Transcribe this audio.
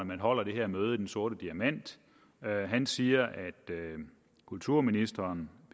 man holder det her møde i den sorte diamant han siger at kulturministeren